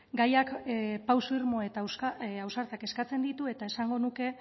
gaiak pauso irmo eta ausartak eskatzen ditu eta esango nuke